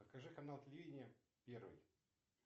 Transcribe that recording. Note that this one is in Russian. покажи канал телевидения первый